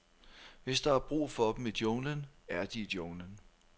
Hvis der er brug for dem i junglen, er de i junglen.